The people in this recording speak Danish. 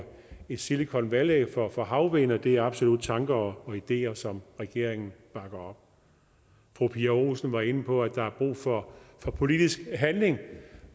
et silicon valley for for havvind og det er absolut tanker og ideer som regeringen bakker op fru pia olsen dyhr var inde på at der er brug for politisk handling